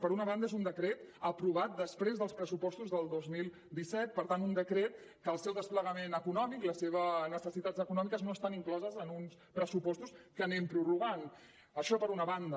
per una banda és un decret aprovat després dels pressupostos del dos mil disset per tant un decret que el seu desplegament econòmic i les seves necessitats econòmiques no estan incloses en uns pressupostos que anem prorrogant això per una banda